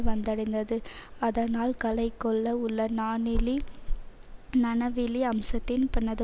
வந்தடைந்தது அதனால் கலைக்கொள உள்ள நாணிலி நனவிலி அம்சத்தின் பணது